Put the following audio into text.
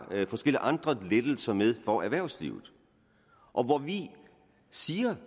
forskellige andre lettelser med for erhvervslivet og hvor vi siger